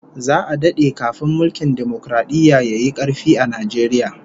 Za'a dade kafin mulkin dimokaradiyya yayi karfi a Najeriya